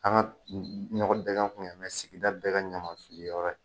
An ka ɲɔgɔn bɛ kun sigida bɛɛ kɛ ɲaman fili yɔrɔ ye.